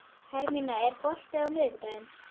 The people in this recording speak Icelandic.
Hermína, er bolti á miðvikudaginn?